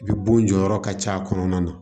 I bɛ bon jɔyɔrɔ ka ca a kɔnɔna na